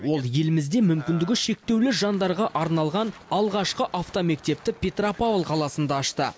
ол елімізде мүмкіндігі шектеулі жандарға арналған алғашқы автомектепті петропавл қаласында ашты